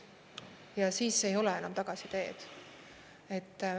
Ja siis ei ole enam tagasiteed.